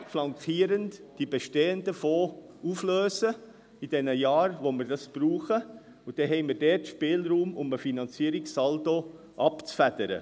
Man kann die bestehenden Fonds in den Jahren, in denen wir es brauchen, flankierend auflösen, und dann haben wir Spielraum, um einen Finanzierungssaldo abzufedern.